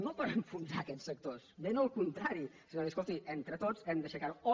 no per enfonsar aquests sectors ben al contrari sinó dir escolti entre tots hem d’aixecar ho